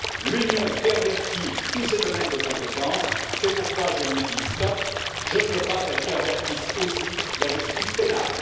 L'Union pervertit tous ses domaines de compétence, c'est pourquoi je lui dis stop, je ne veux pas qu'elle pervertisse aussi la justice pénale.